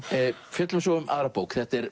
fjöllum svo um aðra bók þetta er